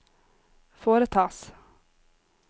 foretas